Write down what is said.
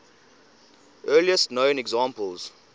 earliest known examples